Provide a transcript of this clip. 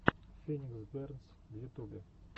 феникс бернс в ютубе